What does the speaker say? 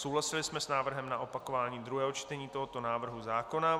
Souhlasili jsme s návrhem na opakování druhého čtení tohoto návrhu zákona.